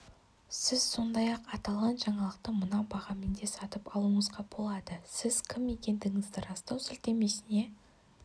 сіз сондай-ақ аталған жаңалықты мына бағамен де сатып алуыңызға болады сіз кім екендігіңізді растау сілтемесіне